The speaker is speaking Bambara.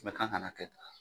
Mɛ k'an kana kɛ tan.